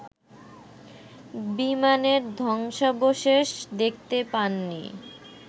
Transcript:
বিমানের ধ্বংসাবশেষ দেখতে পাননি